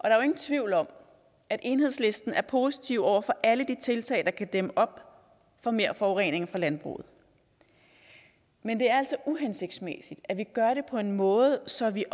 er jo ingen tvivl om at enhedslisten er positiv over for alle de tiltag der kan dæmme op for mere forurening fra landbruget men det er altså uhensigtsmæssigt at vi gør det på en måde så vi